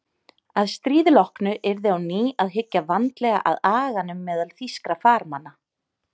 Að stríði loknu yrði á ný að hyggja vandlega að aganum meðal þýskra farmanna.